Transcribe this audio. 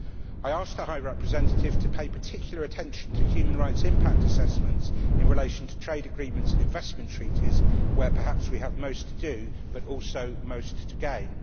I ask the High Representative to pay particular attention to human rights impact assessments in relation to trade agreements and investment treaties where perhaps we have most to do, but also most to gain.